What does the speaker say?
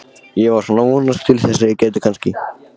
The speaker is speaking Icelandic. Ég var svona að vonast til þess að ég gæti kannski.